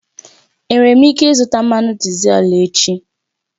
Enwere m ike ịzụta mmanụ dizel echi?